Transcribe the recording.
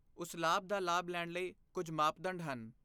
ਉਸ ਲਾਭ ਦਾ ਲਾਭ ਲੈਣ ਲਈ ਕੁਝ ਮਾਪਦੰਡ ਹਨ।